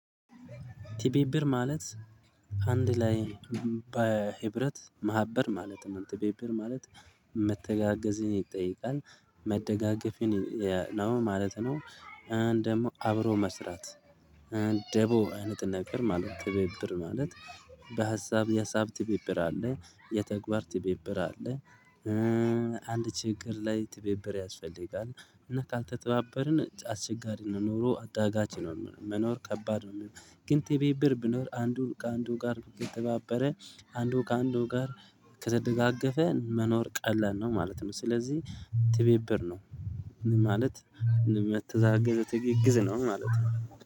ትብብር ማለት አንድ ላይ በህብረት ማህበር ማለት ነው ትብብር ማለት መተጋገዝን ይጠይቃል መደጋገፍን ነው ማለት ነው። ደግሞ አብሮ መስራት። ደቦ አይነት ነገር ማለት ትብብር ማለት በሀሳብ የሀሳብ ትብብር አለ የተግባር ትብብር አለ። አንድ ችግር ላይ ትብብር ያስፈልጋል እና ካልተባበርን አስችጋሪ ነው ኑሮ አዳጋች ነው መኖር ከባድ ነው። ግን ትብብር ቢኖር አንዱ ከአንዱ ጋር ከተባበረ አንዱ ከአንዱ ጋር ከተደጋገፈ መኖር ቀላል ነው ማለት ነው። ስለዚህ ትብብር ነው ማለት የመተጋገዝ ትግግዝ ነው ማለት ነው